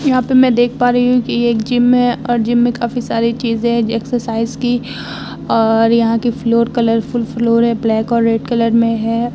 यहाँ पे मैं देख पा रही हूँ कि ये एक जिम है और जिम में काफ़ी सारी चीज़ें है एक्सरसाइज की और यहाँ की फ्लोर कलरफूल फ्लोर है। ब्लैक और रेड कलर में है।